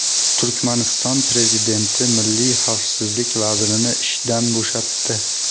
Turkmaniston prezidenti milliy xavfsizlik vazirini ishdan bo‘shatdi.